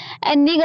ਹੋ ਸਕਦਾ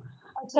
ਇਦਾ